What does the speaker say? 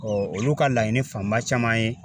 Ɔ olu ka laɲini fanba caman ye